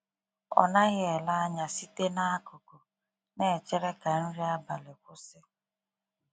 Ọ naghị ele anya site n’akụkụ, na-echere ka nri abalị kwụsị. um